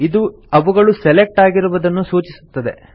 ಇದು ಅವುಗಳು ಸೆಲೆಕ್ಟ್ ಆಗಿರುವುದನ್ನು ಸೂಚಿಸುತ್ತದೆ